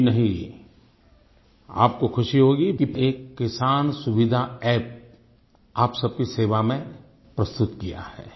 जी नही आपको खुशी होगी कि एक किसान सुविधा अप्प आप सब की सेवा में प्रस्तुत किया है